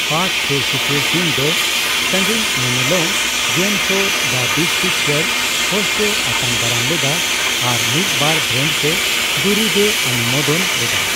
ᱯᱟᱴᱷ ᱥᱳᱨᱥᱳᱯᱩᱨ, ᱥᱤᱝ ᱫᱚ ᱥᱟᱸᱹᱜᱤᱧ ᱧᱮᱱᱮᱞᱚᱢ game show, the big picture host ᱮ ᱟᱛᱟᱝ ᱫᱟᱨᱟᱢ ᱞᱮᱫᱟ ᱟᱨ ᱢᱤᱫᱼᱵᱟᱨ ᱵᱨᱮᱱᱰ ᱥᱮ ᱫᱩᱨᱤᱵᱽ ᱮ ᱚᱱᱩᱢᱳᱫᱚᱱ ᱞᱮᱫᱟ ᱾